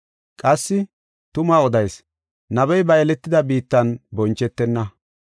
Qassi, “Tuma odayis; nabey ba yeletida biittan bonchetenna.